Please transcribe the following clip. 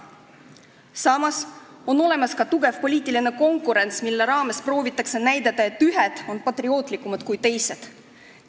Samas on olemas ka tugev poliitiline konkurents, mille raames proovitakse näidata, et ühed on patriootlikumad kui teised.